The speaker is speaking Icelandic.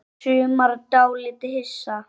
Og sumir dálítið hissa?